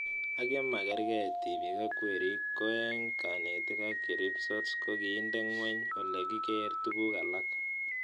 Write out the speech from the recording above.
Ak ye makarkei tipik ak werik ko eng' kanetik ak cheripsots ko kiinde ng'weny ole kikere tuguk alak